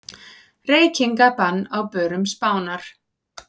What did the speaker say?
Reykingabann á börum Spánar